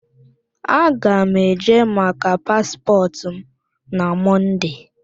Aga m eje maka paspọtụ m na Mọnde.